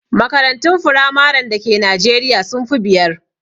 Makarantun firamaren da Ke najeriya sun fi biyar